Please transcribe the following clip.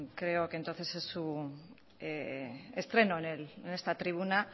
creo que entonces es su estreno en esta tribuna